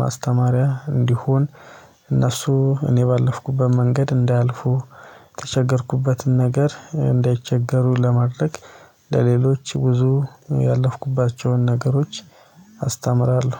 ማስተማሪያ እንዲሆን እነሱ እኔ ባለፍኩበት መንገድ እንዳያልፉ ለተቸገርኩበትን ነገር እንዳይቸገሩ ለማድረግ። ለሌሎች ብዙ ያለፍኩባቸውን ነገሮች አስተምራለሁ